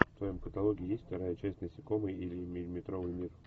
в твоем каталоге есть вторая часть насекомые или миллиметровый мир